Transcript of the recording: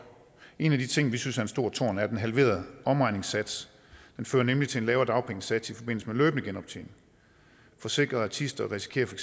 en af de ting vi synes er en stor torn er den halverede omregningssats det fører nemlig til en lavere dagpengesats i forbindelse med løbende genoptjening forsikrede artister risikerer for